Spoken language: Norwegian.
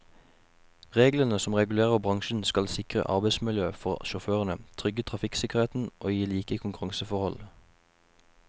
Reglene som regulerer bransjen skal sikre arbeidsmiljø for sjåførene, trygge trafikksikkerheten og gi like konkurranseforhold.